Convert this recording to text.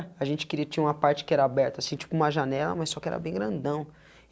A gente queria tinha uma parte que era aberta assim, tipo uma janela, mas só que era bem grandão.